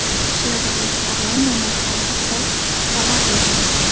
Chevrolet Orlando narxlari haqida xabar berildi.